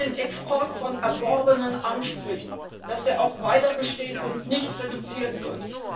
Wir wollen den Export von erworbenen Ansprüchen, dass der auch weiterbesteht und nicht reduziert wird.